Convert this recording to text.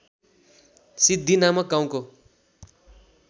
सिद्धि नामक गाउँको